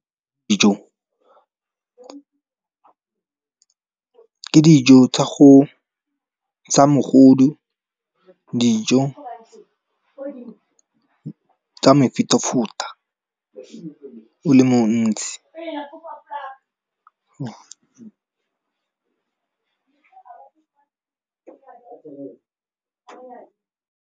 Ke dijo tsa mogodu, dijo tsa mofutafuta o le montsi.